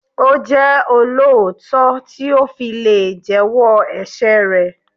Ó jẹ́ olóòótọ́ tí ó fi lè jẹ́ wọ́ ẹ̀ṣẹ̀ rẹ̀.